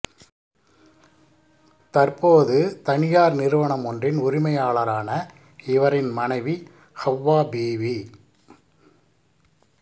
தற்போது தனியார் நிறுவனமொன்றி்ன் உரிமையாளரான இவரின் மனைவி ஹவ்வா பீபி